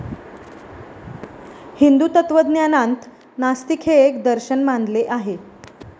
हिंदू तत्वज्ञानांत नास्तिक हे एक दर्शन मानले आहे.